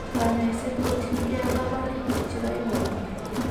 Kanyaiset kotien gee kabarutik chiga ibor gee